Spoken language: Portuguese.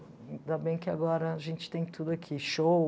Ainda bem que agora a gente tem tudo aqui, show.